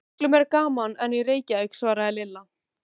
Miklu meira gaman en í Reykjavík svaraði Lilla.